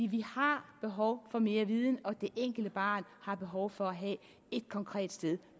vi har behov for mere viden og det enkelte barn har behov for at have et konkret sted